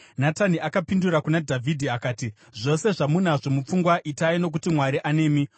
Natani akapindura kuna Dhavhidhi akati, “Zvose zvamunazvo mupfungwa itai nokuti Mwari anemi.”